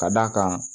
Ka d'a kan